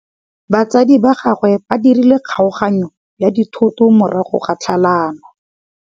Batsadi ba gagwe ba dirile kgaoganyô ya dithoto morago ga tlhalanô.